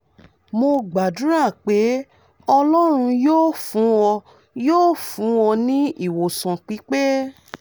mo gbàdúrà pé ọlọ́run yóò fún ọ yóò fún ọ ní ìwòsàn pípe